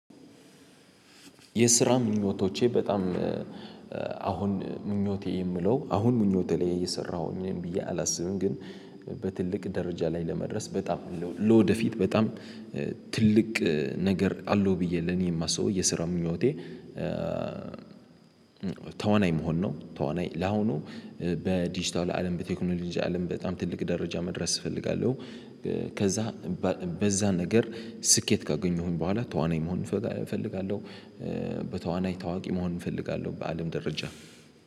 የስራ ምኞቶቼ በጣም አሁን ምኞቴ የምለው አሁን ምኞቴ ላይ እየሰራሁኝ ብዬ አላስብም ግን በትልቅ ደረጃ ላይ ለመድረስ በጣም አለው ለወደፊት በጣም ትልቅ ነገር አለው ብዬ ለኔ የማስበው የስራ ምኞቴ። ተዋናይ መሆን ነው ተዋናይ ለአሁኑ በዲጂታል አለም በቴክኖሎጂ አለም በጣም ትልቅ ደረጃ መድረስ እፈልጋለሁ። ከዛ በዛ ነገር ስኬት ካገኘሁኝ በኋላ ተዋናይ መሆን እፈጋ እፈልጋለሁ። በተዋናይ ታዋቂ መሆን እፈልጋለሁ በአለም ደረጃ